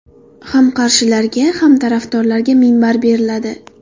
Ham qarshilarga, ham tarafdorlarga minbar beriladi.